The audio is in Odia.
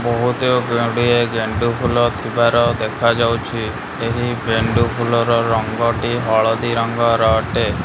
ବହୁତ ଗୁଡିଏ ଗେଣ୍ଡୁ ଫୁଲ ଥିବାର ଦେଖାଯାଉଚି । ଏହି ଗେଣ୍ଡୁ ଫୁଲର ରଙ୍ଗ ହଳଦିଆ ଅଟେ।